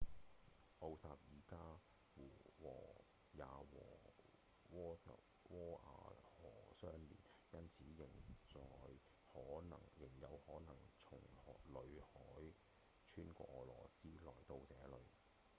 奧涅加湖也和窩瓦河相連因此仍有可能從裏海穿過俄羅斯來到這裡